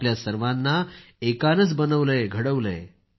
आपल्या सर्वांना एकानंच बनवलंयघडवलंय